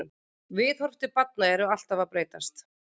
Viðhorf til barna eru alltaf að breytast.